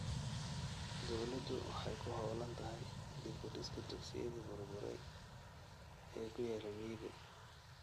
Dawladdu waxay ku hawlan tahay dib u dhiska dugsiyadii burburay ee ku yaalla miyiga.